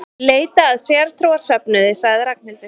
Leita að sértrúarsöfnuði sagði Ragnhildur.